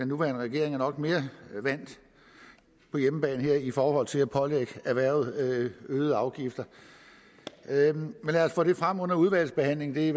nuværende regering er nok mere på hjemmebane her i forhold til at pålægge erhvervet øgede afgifter lad os få det frem under udvalgsbehandlingen vi